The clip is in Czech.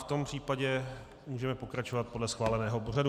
V tom případě můžeme pokračovat podle schváleného pořadu.